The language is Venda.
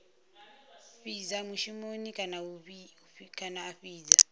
fhidza mushumoni kana a fhidza